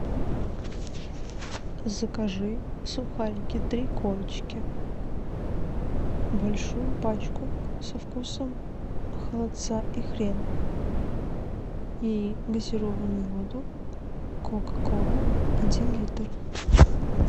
закажи сухарики три корочки большую пачку со вкусом холодца и хрена и газированную воду кока кола один литр